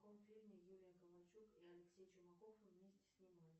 в каком фильме юлия ковальчук и алексей чумаков вместе снимались